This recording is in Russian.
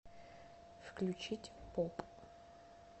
включить поп